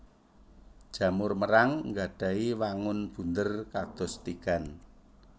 Jamur merang nggadhahi wangun bunder kados tigan